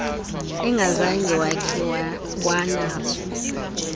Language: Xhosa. engazange wakhe wanaso